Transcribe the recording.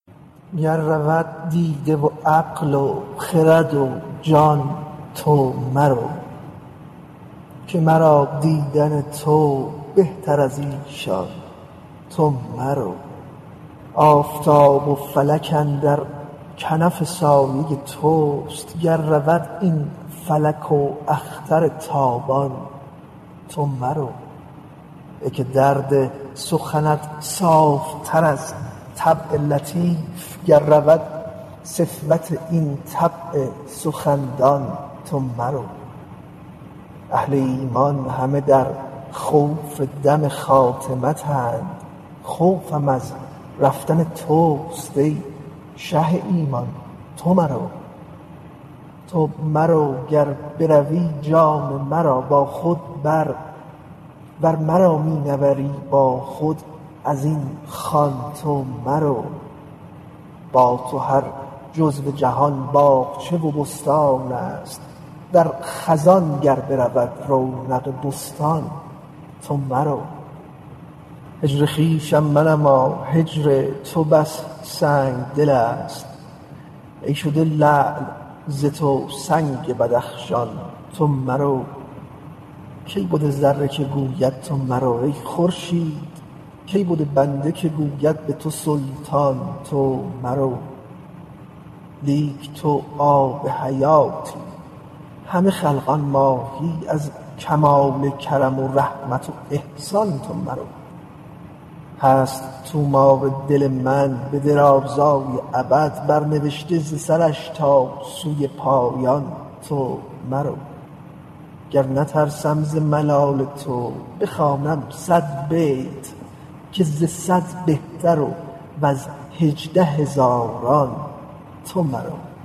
گر رود دیده و عقل و خرد و جان تو مرو که مرا دیدن تو بهتر از ایشان تو مرو آفتاب و فلک اندر کنف سایه توست گر رود این فلک و اختر تابان تو مرو ای که درد سخنت صاف تر از طبع لطیف گر رود صفوت این طبع سخندان تو مرو اهل ایمان همه در خوف دم خاتمتند خوفم از رفتن توست ای شه ایمان تو مرو تو مرو گر بروی جان مرا با خود بر ور مرا می نبری با خود از این خوان تو مرو با تو هر جزو جهان باغچه و بستان ست در خزان گر برود رونق بستان تو مرو هجر خویشم منما هجر تو بس سنگ دل ست ای شده لعل ز تو سنگ بدخشان تو مرو کی بود ذره که گوید تو مرو ای خورشید کی بود بنده که گوید به تو سلطان تو مرو لیک تو آب حیاتی همه خلقان ماهی از کمال کرم و رحمت و احسان تو مرو هست طومار دل من به درازی ابد برنوشته ز سرش تا سوی پایان تو مرو گر نترسم ز ملال تو بخوانم صد بیت که ز صد بهتر و ز هجده هزاران تو مرو